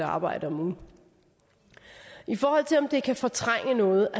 arbejde om ugen i forhold til om det kan fortrænge noget